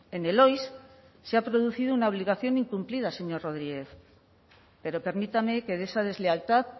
en el oiss se ha producido una obligación incumplida señor rodríguez pero permítame que de esa deslealtad